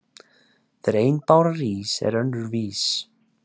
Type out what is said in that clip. Þegar ein báran rís er önnur vís.